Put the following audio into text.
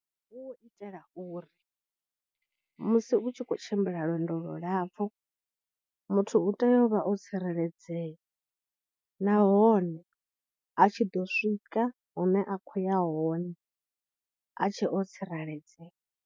Hu u itela uri musi u tshi khou tshimbila lwendo lu lapfhu, muthu u tea u vha o tsireledzea nahone a tshi ḓo swika hune a khou ya hone a tshe o tsireledzea.